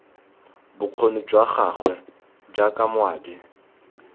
bokgoni jwa gagwe jaaka moabi